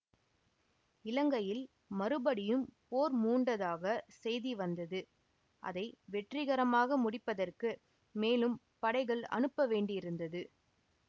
இலங்கையில் மறுபடியும் போர் மூண்டதாகச் செய்தி வந்தது அதை வெற்றிகரமாக முடிப்பதற்கு மேலும் படைகள் அனுப்ப வேண்டியிருந்தது